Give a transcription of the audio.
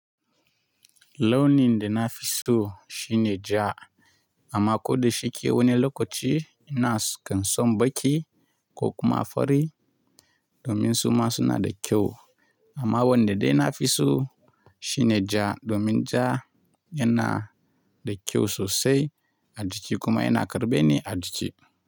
Launi da na fi so shine ja, amma ko da shi ke wani lokaci ina son baƙi ko kuma fari domin suma suna da kyau. Amma wanda dai na fi so shine ja domin ja yana da kyau sosai a jiki kuma yana karɓe ni a jiki.